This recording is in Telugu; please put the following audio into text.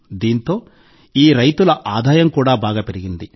దీంతో ఈ రైతుల ఆదాయం కూడా బాగా పెరిగింది